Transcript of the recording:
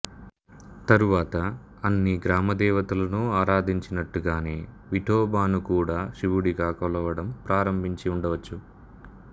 తరువాత అన్ని గ్రామదేవతలను ఆరాధించినట్టుగానే విఠోబాను కూడా శివుడిగా కొలవడం ప్రారంభించి ఉండవచ్చు